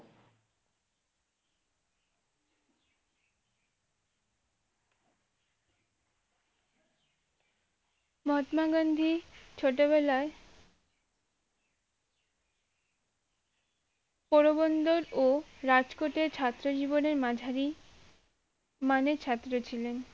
মহাত্মা গান্ধী ছোটবেলায় পোরো বন্দর ও রাজ কোটে ছাত্র জীবনে মাঝারি মানের ছাত্র ছিলেন